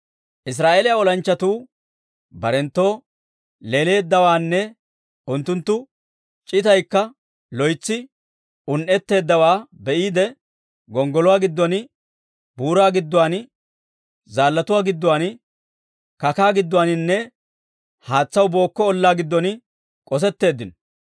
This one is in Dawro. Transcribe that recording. Israa'eeliyaa olanchchatuu barenttoo leeleeddawaanne unttunttu c'itaykka loytsi un"etteeddawaa be'iide, gonggoluwaa giddon, buuraa gidduwaan, zaallatuu gidduwaan, kakaa giddoninne haatsaw bookko ollaa giddon k'osetteeddinno.